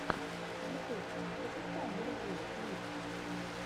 ютуб запускай мурзилок лив